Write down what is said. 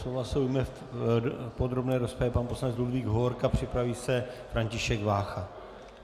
Slova se ujme v podrobné rozpravě pan poslanec Ludvík Hovorka, připraví se František Vácha.